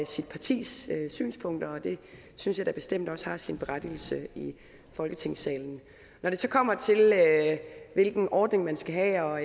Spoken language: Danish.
sit partis synspunkter det synes jeg da bestemt også har sin berettigelse i folketingssalen når det så kommer til hvilken ordning man skal have og